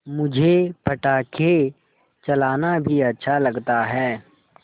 मुझे पटाखे चलाना भी अच्छा लगता है